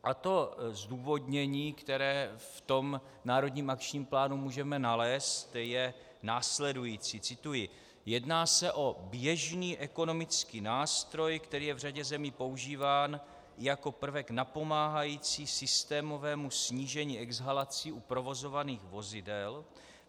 A to zdůvodnění, které v tom národním akčním plánu můžeme nalézt, je následující - cituji: "Jedná se o běžný ekonomický nástroj, který je v řadě zemí používán jako prvek napomáhající systémovému snížení exhalací u provozovaných vozidel.